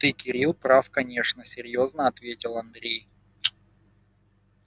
ты кирилл прав конечно серьёзно ответил андрей